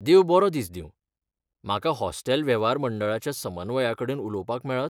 देव बरो दीस दिंव, म्हाका हॉस्टेल वेव्हार मंडळाच्या समन्वयकाकडेन उलोवपाक मेळत?